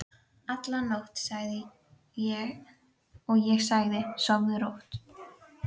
alla nótt, og ég sagði: Sofðu rótt.